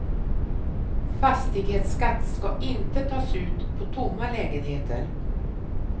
Fastighetsskatt ska inte tas ut på tomma lägenheter.